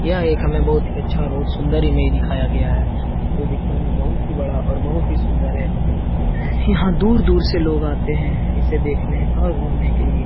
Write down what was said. यह हमें एक बहुत अच्छा और बहुत ही सुन्दर इमेज दिखाया गया है यह दिखने में बहुत बड़ा बहुत सुन्दर है यहाँ दूर-दूर से लोग आते है इसे देखने और घुमने के लिए ।